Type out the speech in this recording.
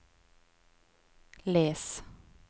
les